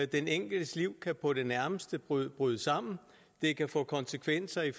den enkeltes liv kan på det nærmeste bryde bryde sammen det kan få konsekvenser i